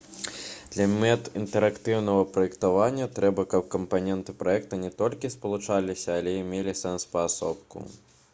для мэт інтэрактыўнага праектавання трэба каб кампаненты праекта не толькі спалучаліся але і мелі сэнс паасобку